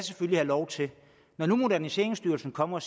have lov til når nu moderniseringsstyrelsen kommer